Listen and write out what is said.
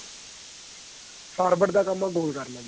forward ਦਾ ਕੰਮ ਏ goal ਕਰਨਾ